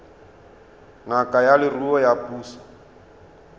ngaka ya leruo ya puso